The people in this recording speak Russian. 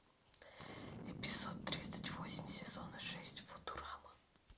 эпизод тридцать восемь сезона шесть футурама